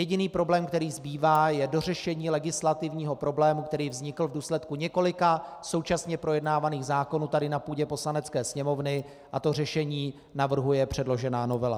Jediný problém, který zbývá, je dořešení legislativního problému, který vznikl v důsledku několika současně projednávaných zákonů tady na půdě Poslanecké sněmovny, a to řešení navrhuje předložená novela.